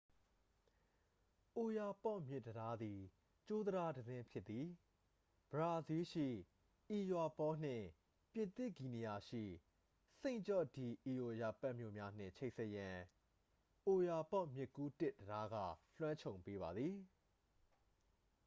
အိုယာပေါ့မြစ်တံတားသည် ကြိုးတံတားတစ်စင်း ဖြစ်သည် ဘရာဇီးလ်ရှိ အွီယာပေါ နှင့် ပြင်သစ်ဂီနီယာရှိ စိန့်ဂျော့ဒီအီအိုယာပက် မြို့များနှင့် ချိတ်ဆက်ရန် အိုယာပေါ့မြစ်ကူးတစ်တံတားက လွှမ်းခြုံပေးပါသည်